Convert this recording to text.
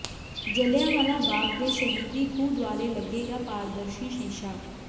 ਜਲ੍ਹਿਆਂਵਾਲਾ ਬਾਗ਼ ਦੇ ਸ਼ਹੀਦੀ ਖੂਹ ਦੁਆਲੇ ਲੱਗੇਗਾ ਪਾਰਦਰਸ਼ੀ ਸ਼ੀਸ਼ਾ